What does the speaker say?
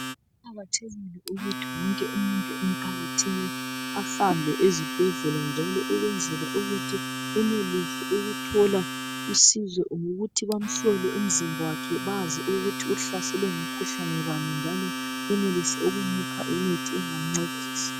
Kuqakathekile ukuthi wonke umuntu emphakathini ahambe ezibhedlela njalo ukwenzela ukuthi enelise ukuthola usizo lokuthi bamhlole umzimba wakhe bazi ukuthi uhlaselwe ngumkhuhlane bani njalo benelise ukumupha imithi engamncedisa